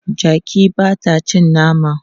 Jaki ba ta cin nama.